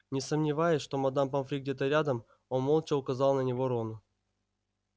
не сомневаясь что мадам помфри где-то рядом он молча указал на него рону